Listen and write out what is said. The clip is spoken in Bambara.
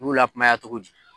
B'u lakumaya togo di.